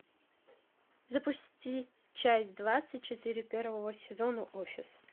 запусти часть двадцать четыре первого сезона офис